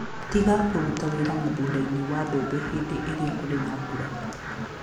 Tiga kũruta wĩra mĩgũnda-inĩ ya mbembe hĩndĩ ĩrĩa kũrĩ na mbura.